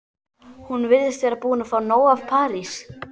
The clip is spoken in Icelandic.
Hún virðist vera búin að fá nóg af París.